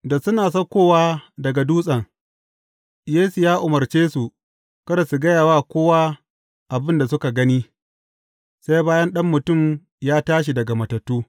Da suna saukowa daga dutsen, Yesu ya umarce su kada su gaya wa kowa abin da suka gani, sai bayan Ɗan Mutum ya tashi daga matattu.